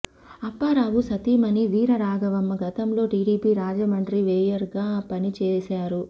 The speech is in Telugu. అప్పారావు సతీమణి వీర రాఘవమ్మ గతంలో టిడిపి రాజమండ్రి మేయర్గా పని చేశారు